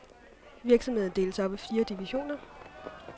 Virksomheden deles op i fire divisioner.